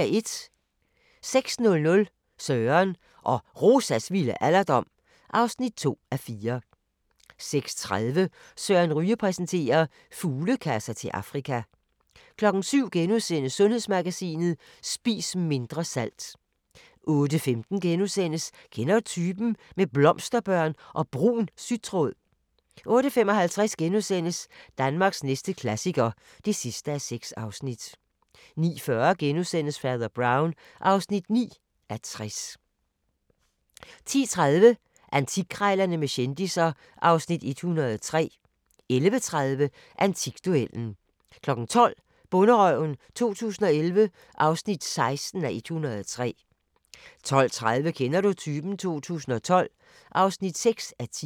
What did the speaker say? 06:00: Søren og Rosas vilde alderdom (2:4) 06:30: Søren Ryge præsenterer: Fuglekasser til Afrika 07:00: Sundhedsmagasinet: Spis mindre salt * 08:15: Kender du typen? – med blomsterbørn og brun sytråd * 08:55: Danmarks næste klassiker (6:6)* 09:40: Fader Brown (9:60)* 10:30: Antikkrejlerne med kendisser (Afs. 103) 11:30: Antikduellen 12:00: Bonderøven 2011 (16:103) 12:30: Kender du typen? 2012 (6:10)